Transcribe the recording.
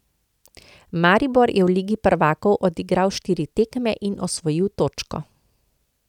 Maribor je v ligi prvakov odigral štiri tekme in osvojil točko.